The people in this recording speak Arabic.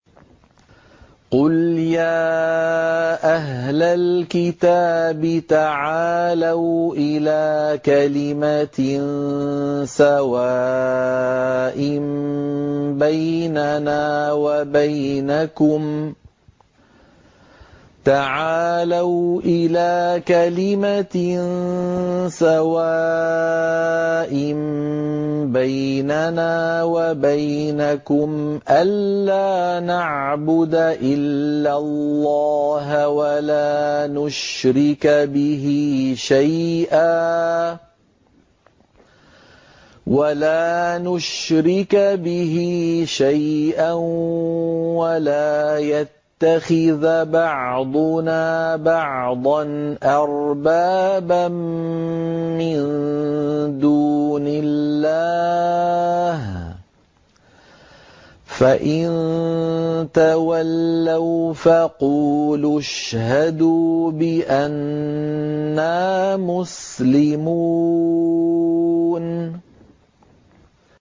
قُلْ يَا أَهْلَ الْكِتَابِ تَعَالَوْا إِلَىٰ كَلِمَةٍ سَوَاءٍ بَيْنَنَا وَبَيْنَكُمْ أَلَّا نَعْبُدَ إِلَّا اللَّهَ وَلَا نُشْرِكَ بِهِ شَيْئًا وَلَا يَتَّخِذَ بَعْضُنَا بَعْضًا أَرْبَابًا مِّن دُونِ اللَّهِ ۚ فَإِن تَوَلَّوْا فَقُولُوا اشْهَدُوا بِأَنَّا مُسْلِمُونَ